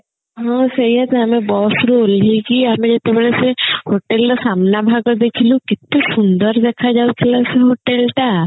ହଁ ସେଇଆ ତ ଆମେ bus ରୁ ଓହ୍ଲେଇକି ଆମେ ଯେତେବେଳେ ସେ hotel ର ସାମ୍ନା ଭାଗ ଦେଖିଲୁ କେତେ ସୁନ୍ଦର ଦେଖା ଯାଉଥିଲା ସେ motel ଟା